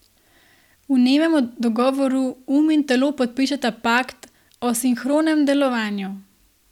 V nemem dogovoru um in telo podpišeta pakt o sinhronem delovanju.